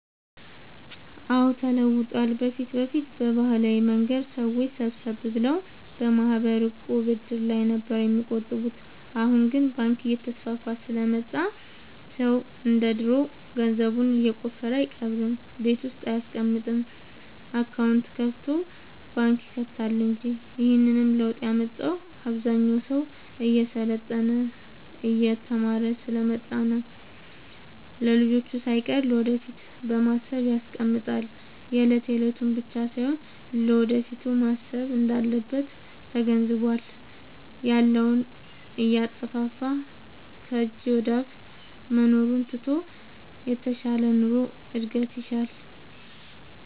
አዎድ ተለውጧል በፊት በፊት በባህላዊ መንገድ ሰዎች ሰብሰብ ብለው በማህበር፣ ዕቁብ፣ እድር ላይ ነበር የሚቆጥቡት አሁን ግን ባንክ እየተስፋፋ ስለመጣ ሰው እንደ ድሮ ገንዘቡን የቆፈረ አይቀብርም ቤት ውስጥ አይያስቀምጥም አካውንት ከፋቶ ባንክ ይከታል እንጂ ይህንንም ለውጥ ያመጣው አብዛኛው ሰው እየሰለጠነ የተማረ ስሐ ስለመጣ ነው። ለልጅቹ ሳይቀር ለወደፊት በማሰብ ያስቀምጣል የለት የለቱን ብቻ ሳይሆን ለወደፊቱም ማሰብ እንዳለበት ተገንዝቧል። ያለውን እያጠፋፋ ከጅ ወደአፋ መኖሩን ትቶ የተሻለ ኑሮ እድገት ይሻል።